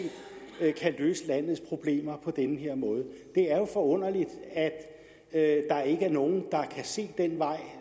kan løse landets problemer på den her måde det er jo forunderligt at der ikke er nogen der kan se den vej